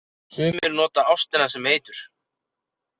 Sumir nota ástina sem eitur.